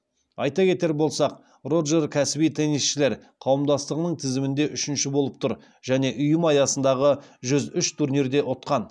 айта кетер болсақ роджер кәсіби теннисшілер қауымдастығының тізімінде үшінші болып тұр және ұйым аясындағы жүз үш турнирде ұтқан